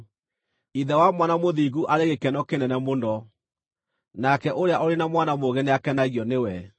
Ithe wa mwana mũthingu arĩ gĩkeno kĩnene mũno; nake ũrĩa ũrĩ na mwana mũũgĩ nĩakenagio nĩwe.